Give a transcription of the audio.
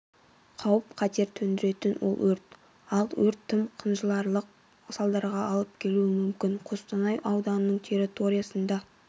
қауіп-қатер төндіретін ол өрт ал өрт тым қынжыларлық салдарға алып келуі мүмкін қостанай ауданының территориясында